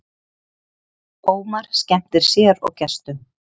Ómar skemmtir sér og gestum